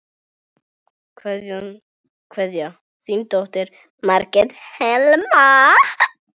Kveðja, þín dóttir, Margrét Helma.